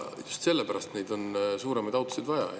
Just sellepärast on neid suuremaid autosid vaja.